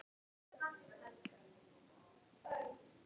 Hvað þýðir það á mannamáli?